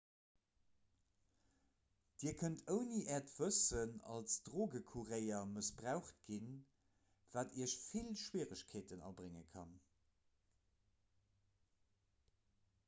dir kënnt ouni äert wëssen als drogecourrier mëssbraucht ginn wat iech vill schwieregkeeten abrénge kann